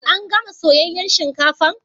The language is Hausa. An gana Soyayyan shinkafan?